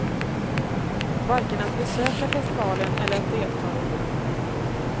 Varken att besöka festivalen eller att delta i den.